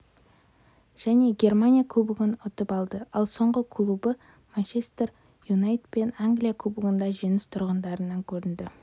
және германия кубогын ұтып алды ал соңғы клубы манчестер юнайтедпен англия кубогында жеңіс тұғырынан көрінді